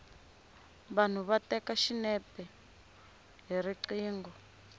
vanhu va teka xinepe hi riqingho